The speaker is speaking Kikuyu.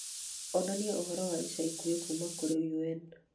onania ũhoro wa ica ikuhĩ kuuma kũrĩ un